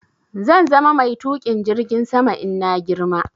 Zan zama mai Tuƙin jirgin sama in na girma